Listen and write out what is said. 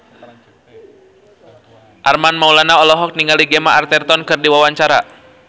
Armand Maulana olohok ningali Gemma Arterton keur diwawancara